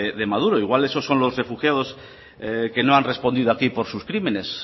de maduro igual esos son los refugiados que no han respondido aquí por sus crímenes